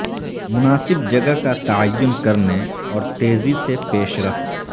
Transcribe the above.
مناسب جگہ کا تعین کرنے اور تیزی سے پیش رفت